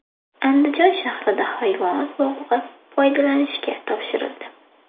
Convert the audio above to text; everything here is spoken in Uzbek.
Andijon shahrida hayvonot bog‘i foydalanishga topshirildi .